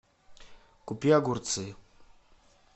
купи огурцы